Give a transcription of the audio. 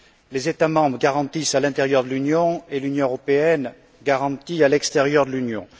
Les États membres garantissent à l'intérieur de l'Union et l'Union européenne garantit à l'extérieur de l'Union.